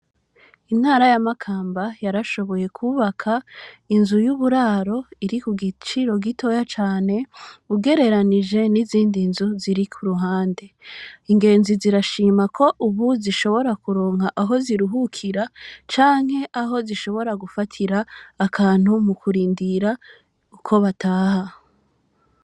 Intara yamakamba yarashoboye kubaka inzu yuburaro iri kugiciro gitoya cane ugereranije n’izindi nzu zirikuruhande ingenzi zirashima ko ubu zishobira kuronka aho kuruhukira canke ahozishobora gufatira akantu mukurindira ko bataha